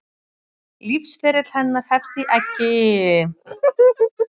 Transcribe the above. Lífsferill hennar hefst í eggi sem kallað er nit.